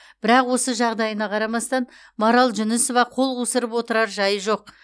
бірақ осы жағдайына қарамастан марал жүнісова қол қусырып отырар жайы жоқ